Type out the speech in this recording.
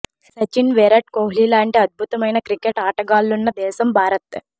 సచిన్ విరాట్ కోహ్లీ లాంటి అద్భుతమైన క్రికెట్ ఆటగాళ్లున్న దేశం భారత్